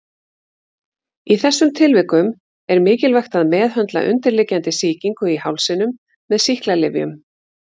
Í þessum tilvikum er mikilvægt að meðhöndla undirliggjandi sýkingu í hálsinum með sýklalyfjum.